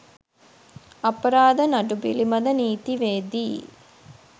අපරාධ නඩු පිලිබඳ නීතිවේදී